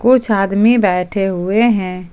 कुछ आदमी बैठे हुए हैं।